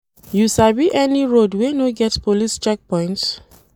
You sabi any road wey no dey get police checkpoints?